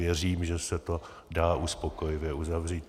Věřím, že se to dá uspokojivě uzavřít.